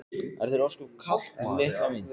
Er þér ósköp kalt litla mín?